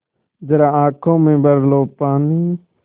ज़रा आँख में भर लो पानी